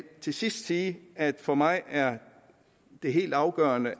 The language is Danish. til sidst sige at det for mig er er helt afgørende og